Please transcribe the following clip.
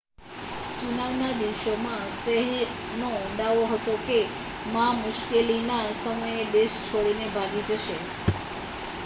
ચુનાવ ના દિવસોમાં શેહનો દાવો હતો કે મા મુશ્કેલી ના સમયે દેશ છોડી ને ભાગી જશે